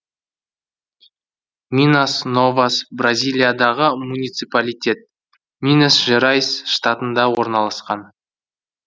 минас новас бразилиядағы муниципалитет минас жерайс штатында орналасқан